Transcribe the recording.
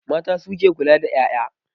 Mata su ke kula da 'ya'ya.